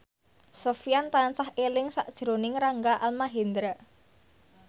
Sofyan tansah eling sakjroning Rangga Almahendra